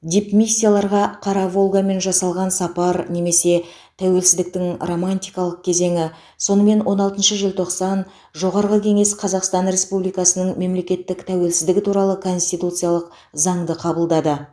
дипмиссияларға қара волгамен жасалған сапар немесе тәуелсіздіктің романтикалық кезеңі сонымен он алтыншы желтоқсан жоғарғы кеңес қазақстан республикасының мемлекеттік тәуелсіздігі туралы конституциялық заңды қабылдады